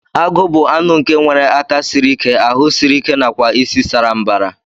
Agu bu anụ nke nwere aka siri ike, ahu siri ike nakwa isi saa mbara.